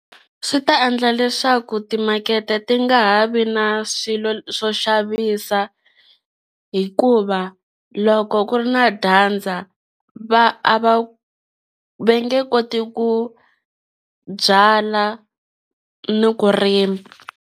Swi ta endla leswaku timakete ti nga ha vi na swilo swo xavisa hikuva loko ku ri na dyandza va a va va nge koti ku byala ni ku rima.